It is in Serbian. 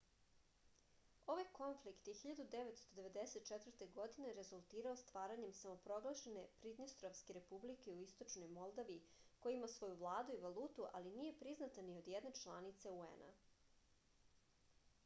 ovaj konflikt je 1994. godine rezultirao stvaranjem samoproglašene pridnjestrovske republike u istočnoj moldaviji koja ima svoju vladu i valutu ali nije priznata ni od jedne članice un-a